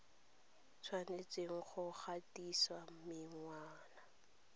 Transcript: o tshwanetse go gatisa menwana